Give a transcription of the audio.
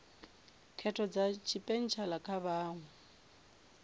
khetho dza tshipentshela kha vhaṅwe